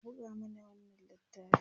ka buga mana wannan littafin!